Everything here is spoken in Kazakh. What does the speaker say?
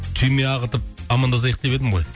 түйме ағытып амандасайық деп едім ғой